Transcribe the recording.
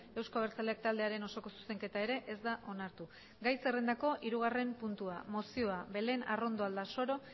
euzko abertzaleak taldearen osoko zuzenketa ere ez da onartu gai zerrendako hirugarren puntua mozioa belén arrondo aldasoro